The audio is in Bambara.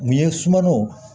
Nin ye sumanw